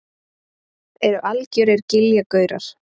Eru algjörir giljagaurar.